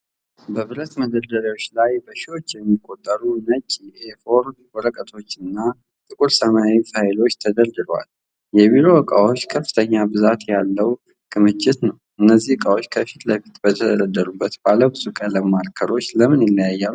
በብረት መደርደሪያዎች ላይ በሺዎች የሚቆጠሩ ነጭ የኤ4 ወረቀቶችና ጥቁር ሰማያዊ ፋይሎች ተደርድረዋል፤ የቢሮ እቃዎች ከፍተኛ ብዛት ያለውን ክምችት ነው። እነዚህ እቃዎች ከፊት ለፊት በተደረደሩት ባለብዙ ቀለም ማርከሮች ለምን ይለያያሉ?